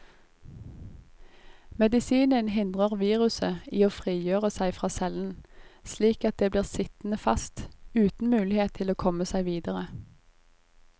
Medisinen hindrer viruset i å frigjøre seg fra cellen, slik at det blir sittende fast, uten mulighet til å komme seg videre.